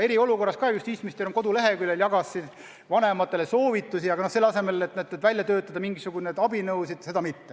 Eriolukorras jagas justiitsminister koduleheküljel vanematele soovitusi, selle asemel et välja töötada mingisuguseid konkreetseid abinõusid.